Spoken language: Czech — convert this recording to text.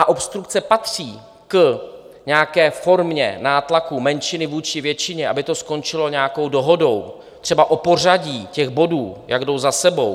A obstrukce patří k nějaké formě nátlaku menšiny vůči většině, aby to skončilo nějakou dohodou, třeba o pořadí těch bodů, jak jdou za sebou.